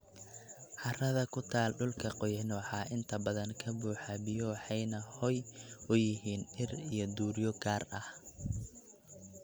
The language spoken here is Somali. Carrada ku taal dhulka qoyan waxaa inta badan ka buuxa biyo waxayna hoy u yihiin dhir iyo duuryo gaar ah.